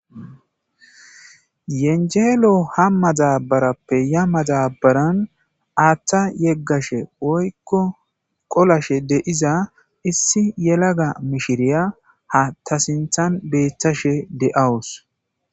Yenjelo ya madabarappe ha madabaran atha yegashe qolashe de'iya issi yelaga mishiriya ha tasinthan betashe de'awus